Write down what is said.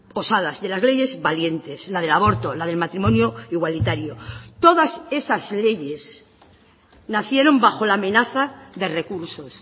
osadas de las leyes valientes la del aborto la del matrimonio igualitario todas esas leyes nacieron bajo la amenaza de recursos